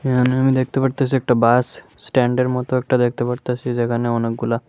এখানে আমি দেখতে পারতেসি একটা বাস স্ট্যান্ডের মতো একটা দেখতে পারতেসি যেখানে অনেকগুলা--